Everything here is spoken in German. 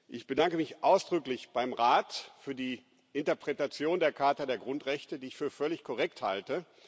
Ich bedanke mich ausdrücklich beim Rat für die Interpretation der Charta der Grundrechte, die ich für völlig korrekt halte.